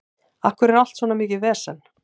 Af hverju er allt svona mikið vesen?